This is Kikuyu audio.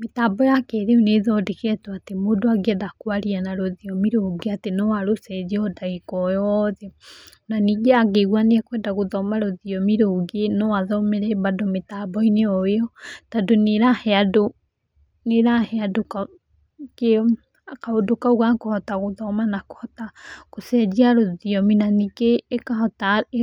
Mĩtambo ya kĩrĩu nĩ ĩthondeketwo atĩ mũndũ angĩenda kwaria na rũthiomi rũngĩ atĩ no arũcenjie o ndagĩka o yothe, na ningĩ angĩigua nĩ akwenda gũthoma rũthiomi rũngĩ no athomere bado mĩtambo-inĩ o ĩyo, tondũ nĩ ĩrahe andũ kaũndũ kau ga kũhota gũthoma nako kũhota gũcenjia rũthiomi na ningĩ